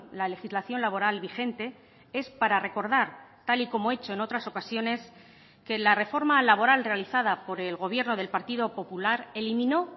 la legislación laboral vigente es para recordar tal y como he hecho en otras ocasiones que la reforma laboral realizada por el gobierno del partido popular eliminó